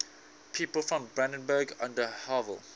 people from brandenburg an der havel